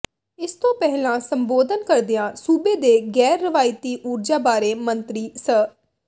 ਇਸ ਤੋਂ ਪਹਿਲਾਂ ਸੰਬੋਧਨ ਕਰਦਿਆਂ ਸੂਬੇ ਦੇ ਗੈਰ ਰਵਾਇਤੀ ਊਰਜਾ ਬਾਰੇ ਮੰਤਰੀ ਸ